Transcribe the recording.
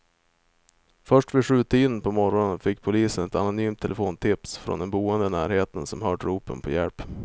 Först vid sjutiden på morgonen fick polisen ett anonymt telefontips från en boende i närheten som hört ropen på hjälp.